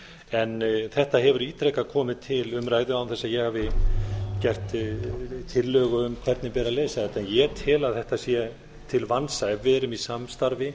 en þetta hefur ítrekað komið til umræðu án þess að ég hafi gert tillögu um hvernig beri að leysa þetta ég tel að þetta sé til vansa ef við erum í samstarfi